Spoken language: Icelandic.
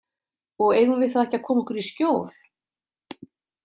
Og eigum við þá ekki að koma okkur í skjól?